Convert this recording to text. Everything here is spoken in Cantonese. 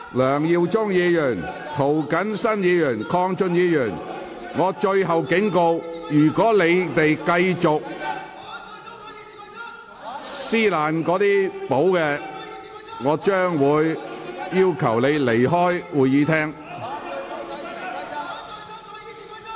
梁耀忠議員、涂謹申議員、鄺俊宇議員，我最後警告，如果你們繼續撕毀《議事規則》，我會命令你們離開會議廳。